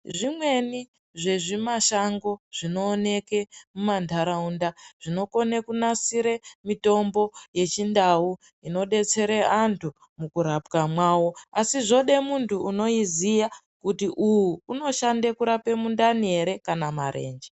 Zvimweni zvezvimashango zvinooneke mumantaraunda, zvinokone kunasire mitombo yechindau inodetsere antu mukurapwa mwavo, asi zvode muntu unoiziya kuti uyu unoshande kurape mundani ere kana kuti marenje.